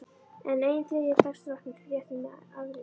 Enn ein þriðja dags drottningin réttir mér afritið.